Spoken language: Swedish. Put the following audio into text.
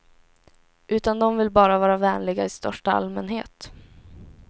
Utan de vill bara vara vänliga i största allmänhet.